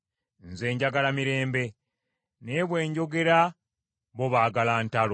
Nze njagala mirembe, naye bwe njogera bo baagala ntalo.